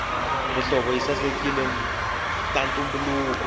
mihlovo yi sasekisa ntumbuluko